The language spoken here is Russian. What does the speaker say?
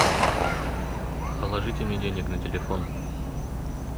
положите мне денег на телефон